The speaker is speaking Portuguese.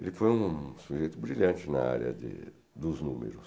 Ele foi um sujeito brilhante na área de dos números.